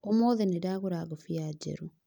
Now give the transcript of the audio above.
ũmũthĩ nĩndagũra ngobia njerũ